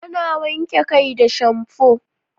Ana wanke kai da shamfo